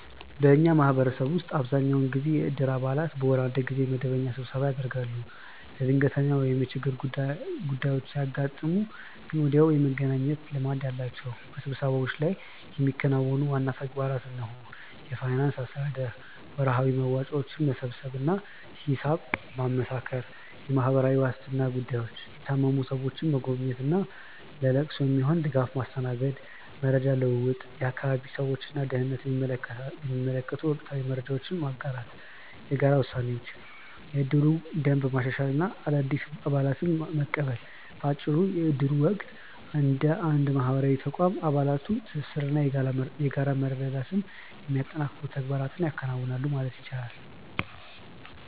በእኛ ማህበረሰብ ውስጥ አብዛኛውን ጊዜ የእድር አባላት በወር አንድ ጊዜ መደበኛ ስብሰባ ያደርጋሉ። ለድንገተኛ ወይም የችግር ጉዳዮች ሲያጋጥሙ ግን ወዲያውኑ የመገናኘት ልማድ አላቸው። በስብሰባዎቹ ላይ የሚከናወኑ ዋና ተግባራት እነሆ፦ የፋይናንስ አስተዳደር፦ ወርሃዊ መዋጮዎችን መሰብሰብ እና ሂሳብ ማመሳከር። የማህበራዊ ዋስትና ጉዳዮች፦ የታመሙ ሰዎችን መጎብኘት እና ለለቅሶ የሚሆን ድጋፍ ማስተናገድ። መረጃ ልውውጥ፦ የአካባቢውን ሰላም እና ደህንነት የሚመለከቱ ወቅታዊ መረጃዎችን መጋራት። የጋራ ውሳኔዎች፦ የእድሩን ደንብ ማሻሻል እና አዳዲስ አባላትን መቀበል። ባጭሩ የእድሩ ወቅት እንደ አንድ ማህበራዊ ተቋም የአባላቱን ትስስር እና የጋራ መረዳዳት የሚያጠናክሩ ተግባራትን ያከናውናል ማለት ይቻላል።